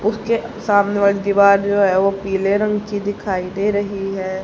उसके सामने वाली दीवार जो है वो पीले रंग की दिखाई दे रही है।